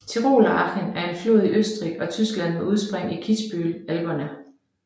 Tiroler Achen er en flod i Østrig og Tyskland med udspring i Kitzbühel Alperne